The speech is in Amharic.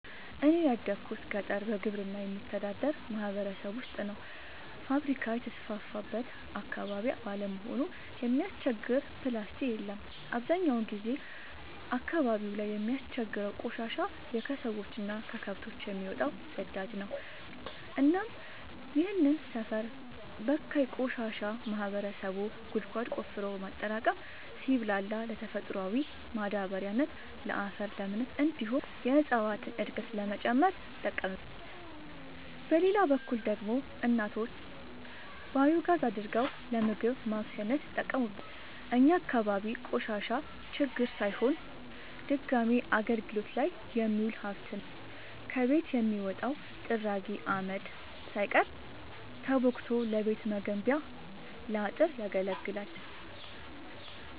እኔ ያደጉት ገጠር በግብርና በሚተዳደር ማህበረሰብ ውስጥ ነው። ፋብሪካ የተስፋፋበት አካባቢ ባለመሆኑ የሚያስቸግር ፕላስቲ የለም አብዛኛውን ጊዜ አካባቢው ላይ የሚያስቸግረው ቆሻሻ የከሰዎች እና ከከብቶች የሚወጣው ፅዳጅ ነው እናም ይህንን ሰፈር በካይ ቆሻሻ ማህበረሰቡ ጉድጓድ ቆፍሮ በማጠራቀም ሲብላላ ለተፈጥሯዊ ማዳበሪያነት ለአፈር ለምነት እንዲሁም የእፀዋትን እድገት ለመጨመር ይጠቀምበታል። በሌላ በኩል ደግሞ እናቶች ባዮጋዝ አድርገው ለምግብ ማብሰያነት ይጠቀሙበታል። እኛ አካባቢ ቆሻሻ ችግር ሳይሆን ድጋሚ አገልግት ላይ የሚውል ሀብት ነው። ከቤት የሚወጣው ጥራጊ አመድ ሳይቀር ተቦክቶ ለቤት መገንቢያ ለአጥር ያገለግላል።